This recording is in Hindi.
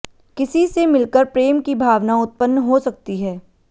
किसी से मिलकर प्रेम की भावना उत्पन्न हो सकती है